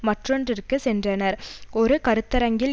மற்றொன்றிற்குச் சென்றனர் ஒரு கருத்தரங்கில்